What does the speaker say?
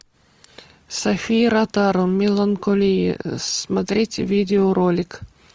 софия ротару меланколие смотреть видеоролик